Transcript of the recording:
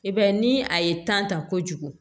I b'a ye ni a ye tan ta kojugu